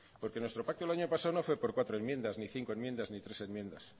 porque nuestro pacto el año pasado no fue por cuatro enmiendas ni cinco enmiendas ni tres enmiendas